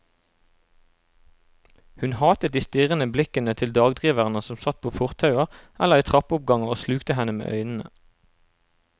Hun hatet de strirrende blikkende til dagdriverne som satt på fortauer eller i trappeoppganger og slukte henne med øynene.